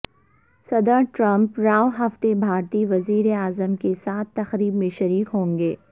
صدر ٹرمپ رواں ہفتے بھارتی وزیراعظم کے ساتھ تقریب میں شریک ہوں گے